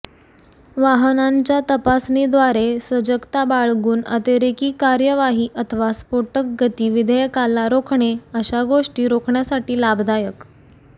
वाहनांच्या तपासणीद्वारे सजगता बाळगून अतिरेकी कार्यवाही अथवा स्फोटक गती विधेयकाला रोखणे अशा गोष्टी रोखण्यासाठी लाभदायक